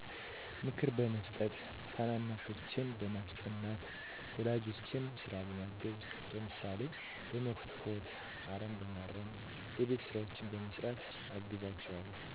ምክር በመስጠት ታናናሾቼን በማስጠናት ወላጆቼን ስራ በማገዝ ለምሳሌ በመኮትኮት አረም በማረም የቤት ስራዎችን በመስራት አግዛቸዋለሁ